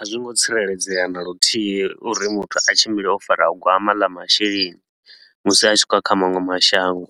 A zwo ngo tsireledzea na luthihi uri muthu a tshimbile o fara gwama ḽa masheleni musi a tshi khou ya kha maṅwe mashango.